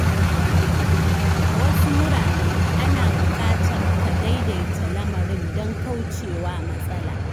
A wasu wurare, ana buƙatar ka “daidaita” lamarin don kauce wa matsala.